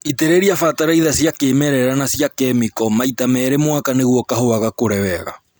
Itĩrĩria bataraitha cia kĩmerera na cia kĩmĩko maita merĩ mwaka nĩguo kahũa gakũre wega